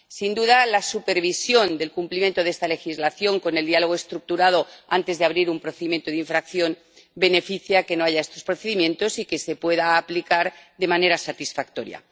Sin duda la supervisión del cumplimiento de esta legislación con el diálogo estructurado antes de abrir un procedimiento de infracción favorece que no haya estos procedimientos y que se pueda aplicar de manera satisfactoria.